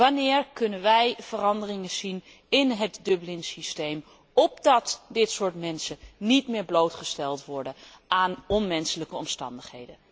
Wanneer kunnen wij veranderingen verwachten in het Dublinsysteem, opdat deze mensen niet meer blootgesteld worden aan onmenselijke omstandigheden?